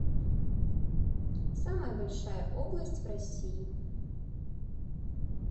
самая большая область в россии